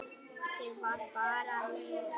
Ég var bara leigu